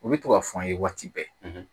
U bɛ to ka fɔ an ye waati bɛɛ